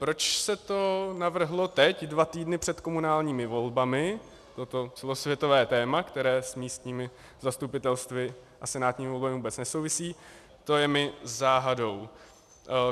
Proč se to navrhlo teď, dva týdny před komunálními volbami, toto celosvětové téma, které s místními zastupitelstvy a senátními volbami vůbec nesouvisí, to je mi záhadou.